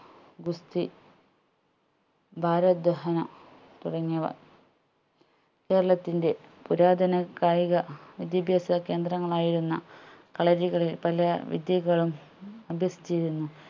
ഗുസ്തി ഭാരത് ദഹ്‌ന തുടങ്ങിയവ കേരളത്തിന്റെ പുരാതന കായിക വിദ്യാഭ്യാസ കേന്ദ്രങ്ങളായിരുന്ന കളരികളിൽ പല വിദ്യകളും അഭ്യസിച്ചിരുന്നു